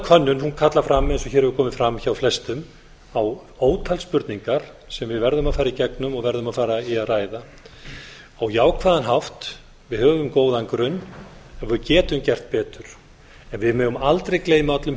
könnun kallar fram eins og hér hefur komið bara hjá flestum á ótal spurningar sem við verðum að fara í gegnum og verðum að fara í að ræða á jákvæðan hátt við höfum góðan grunn en við getum gert betur en við megum aldrei gleyma öllum